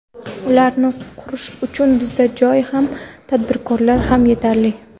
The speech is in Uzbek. Ularni qurish uchun bizda joy ham, tadbirkorlar ham yetarli.